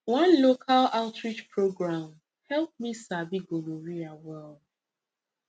one local outreach program help me sabi gonorrhea well